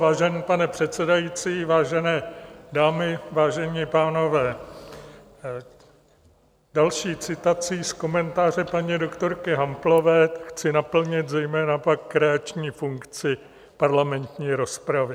Vážený pane předsedající, vážené dámy, vážení pánové, další citací z komentáře paní doktorky Hamplové chci naplnit zejména pak kreační funkci parlamentní rozpravy.